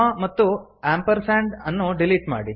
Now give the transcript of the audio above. ಮತ್ತು ಆಂಪರ್ಸಾಂಡ್ ಅನ್ನು ಡಿಲೀಟ್ ಮಾಡಿ